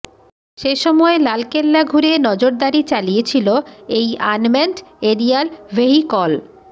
সেসময় লালকেল্লা ঘুরে নজরদারি চালিয়েছিল এই আনম্যানড এরিয়াল ভেহিকল